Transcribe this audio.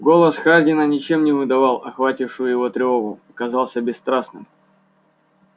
голос хардина ничем не выдавал охватившую его тревогу и казался бесстрастным